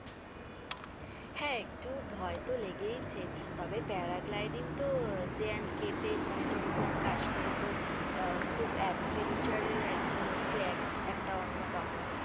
হ্যাঁ, একটু ভয় তো লেগেইছে, তবে parad lighting তো jnkt তে মানে জম্বু and কাশ্মীরে তো আহ খুব adventure এর আর কি মধ্যে এক একটা অন্যতম।